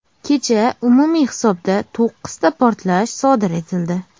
Kecha umumiy hisobda to‘qqizta portlash sodir etildi.